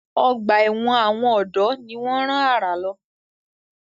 Ọgbà ẹ̀wọ̀n àwọn ọ̀dọ́ ni wọ́n rán àrà lọ.